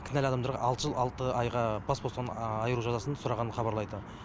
кінәлі адамдарға алты жыл алты айға бас бостандығынан айыру жазасын сұрағанын хабарлайды